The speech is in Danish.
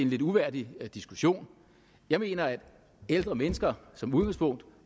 lidt uværdig diskussion jeg mener at ældre mennesker som udgangspunkt